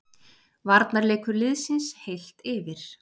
Varnarleikur liðsins, heilt yfir.